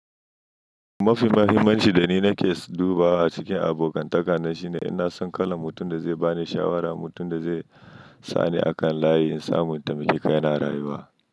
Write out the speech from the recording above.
Mafi muhimmanci da ni nake dubawa cikin abokan takana shine in na san kalan mutum da zai ba ni shawara, mutum da zai sa ni a kan layi in samu taimaki kaina a rayuwa.